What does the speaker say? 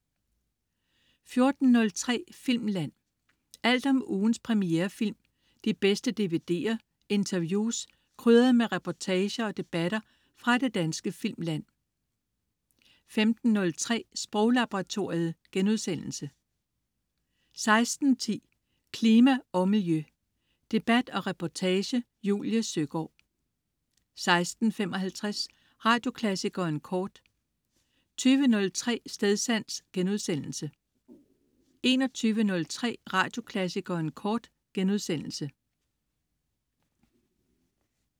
14.03 Filmland. Alt om ugens premierefilm, de bedste DVD'er, interviews, krydret med reportager og debatter fra det danske filmland 15.03 Sproglaboratoriet* 16.10 Klima og Miljø. Debat og reportage. Julie Søgaard 16.55 Radioklassikeren kort 20.03 Stedsans* 21.03 Radioklassikeren kort*